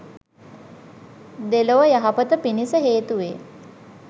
දෙලොව යහපත පිණිස හේතු වේ